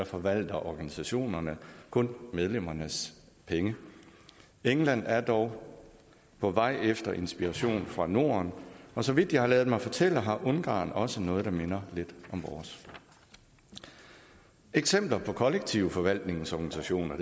forvalter organisationerne kun medlemmernes penge england er dog på vej efter inspiration fra norden og så vidt jeg har ladet mig fortælle har ungarn også noget der minder lidt om vores eksempler på kollektiv forvaltnings organisationer